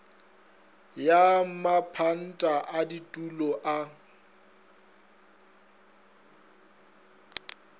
ya mapanta a ditulo a